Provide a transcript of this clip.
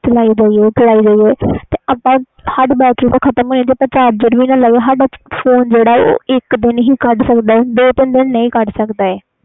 ਜੇ ਚਾਲੀ ਜਾਈਏ ਚਾਲੀ ਜਾਈਏ ਬੈਟਰੀ ਤੇ ਖਤਮ ਹੋਣੀ ਆ ਸਾਡਾ ਫੋਨ ਇਕ ਦਿਨ ਹੀ ਕੱਢ ਸਕਦਾ ਆ